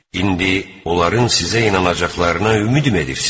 İndi onların sizə inanacaqlarına ümid edirsiz?